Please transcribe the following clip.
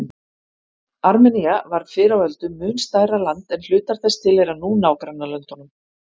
Armenía var fyrr á öldum mun stærra land en hlutar þess tilheyra nú nágrannalöndunum.